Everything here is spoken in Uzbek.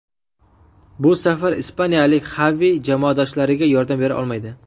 Bu safar ispaniyalik Xavi jamoadoshlariga yordam bera olmaydi.